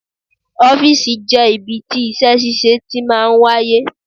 Ọ́fìsì jẹ́ ibi tí iṣẹ́ ṣíṣe tí máa ń wáyé